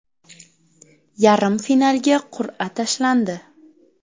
Yarim finalga qur’a tashlandi.